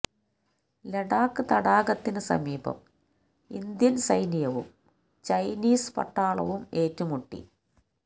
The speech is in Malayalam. ലഡാക് തടാകത്തിന് സമീപം ഇന്ത്യൻ സൈന്യവും ചൈനീസ് പട്ടാളവും ഏറ്റുമുട്ടി